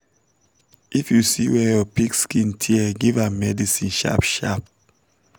if you see wer your pig skin tear give am medicine sharp sharp